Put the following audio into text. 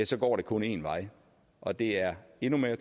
så går det kun en vej og det er endnu mere